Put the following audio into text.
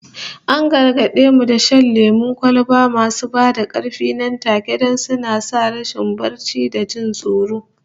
An gargade mu da shan lemon kwalba masu ba da karfi nan take, don suna sa rashin barci da jin tsoro